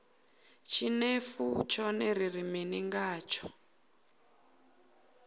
tshinefu tshone ri ri mini ngatsho